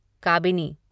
Kabini